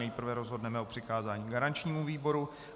Nejprve rozhodneme o přikázání garančnímu výboru.